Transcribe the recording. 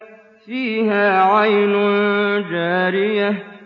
فِيهَا عَيْنٌ جَارِيَةٌ